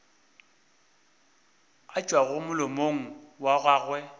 a tšwago molomong wa gago